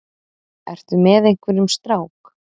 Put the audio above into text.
Ertu með einhverjum strák?